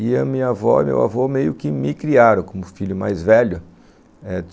E a minha avó e meu avô meio que me criaram como filho mais velho.